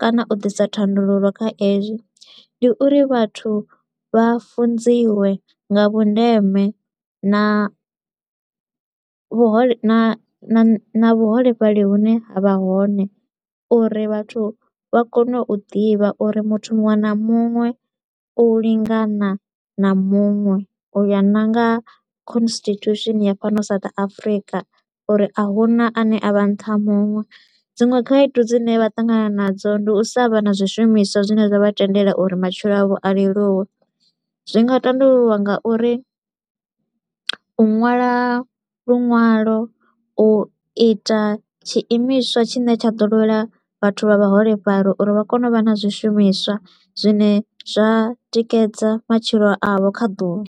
kana u ḓisa thandululo kha ezwi, ndi uri vhathu vha funziwe nga vhundeme na vhuhole na na vhuholefhali hune ha vha hone uri vhathu vha kone u ḓivha uri muthu muṅwe na muṅwe u lingana na muṅwe u ya na nga constitution ya fhano South Afrika uri a huna a ne a vha nṱha ha muṅwe. Dziṅwe khaedu dzine vha ṱangana nadzo ndi u sa vha na zwishumiswa zwine zwa vha tendela uri matshilo avho a leluwe, zwi nga tandululwa nga uri u ṅwala luṅwalo, u ita tshiimiswa tshine tsha ḓo lwela vhathu vha vhaholefhali uri vha kone u vha na zwishumiswa zwine zwa tikedza matshilo avho kha ḓuvha.